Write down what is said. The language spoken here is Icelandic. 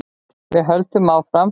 Við höldum áfram.